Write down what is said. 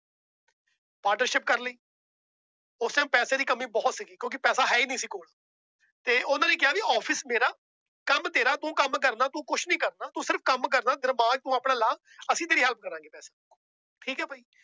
Partnership ਕਰ ਲਈ ਉਸ time ਪੈਸੇ ਦੀ ਕਮੀ ਬਹੁਤ ਸੀਗੀ ਕਿਉਂਕਿ ਪੈਸਾ ਹੈ ਹੀ ਨੀ ਸੀ ਕੋਲ ਤੇ ਉਹਨਾਂ ਨੇ ਕਿਹਾ ਵੀ office ਮੇਰਾ ਕੰਮ ਤੇਰਾ ਤੂੰ ਕੰਮ ਕਰਨਾ ਤੂੰ ਕੁਛ ਨੀ ਕਰਨਾ, ਤੂੰ ਸਿਰਫ਼ ਕੰਮ ਕਰਨਾ ਦਿਮਾਗ ਤੂੰ ਆਪਣਾ ਲਾ ਅਸੀਂ ਤੇਰੀ help ਕਰਾਂਗੇ ਪੈਸੇ, ਠੀਕ ਹੈ ਬਾਈ